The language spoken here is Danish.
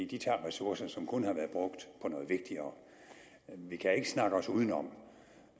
de tager ressourcer som kunne have været brugt på noget vigtigere vi kan ikke snakke udenom